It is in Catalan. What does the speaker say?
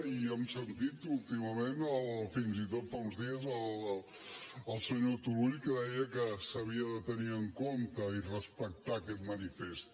i hem sentit últimament fins i tot fa uns dies el senyor turull que deia que s’havia de tenir en compte i respectar aquest manifest